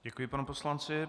Děkuji panu poslanci.